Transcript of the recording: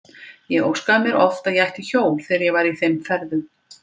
Ég óskaði mér oft að ég ætti hjól þegar ég var í þeim ferðum.